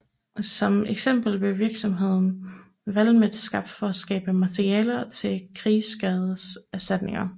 Som eksempel blev virksomheden Valmet skabt for at skabe materialer til krigsskadeserstatninger